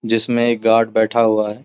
जिसमें एक गार्ड बैठा हुआ है ।